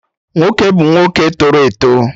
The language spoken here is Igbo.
Nwoke bụ nwa nwoke tọrọ eto